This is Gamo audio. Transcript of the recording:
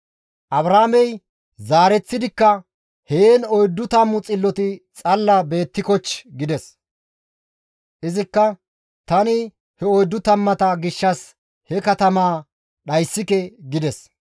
Abrahaamey zaareththidikka, «Heen 40 xilloti xalla beettikochchii?» gides. Izikka, «Tani he oyddu tammata gishshas he katamaa dhayssike» gides.